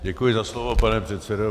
Děkuji za slovo, pane předsedo.